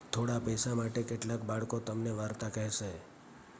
થોડા પૈસા માટે કેટલાક બાળકો તમને વાર્તા કહેશે